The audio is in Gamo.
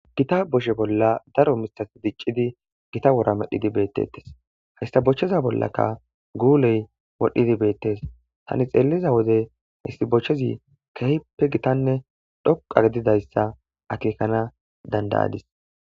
Gita boshe bolla daro misas diccidi gita wora medhidi beettetes hastabochcheza bollaka guuley wodhdhidi beettes tani xeeliza wode histibochchezi kehppe gitanne dhoqa gedidayssa akekana dandayadis.